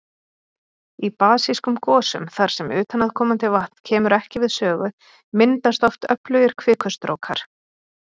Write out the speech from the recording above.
Í basískum gosum þar sem utanaðkomandi vatn kemur ekki við sögu, myndast oft öflugir kvikustrókar.